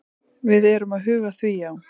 Við erum að huga að því, já.